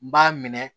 B'a minɛ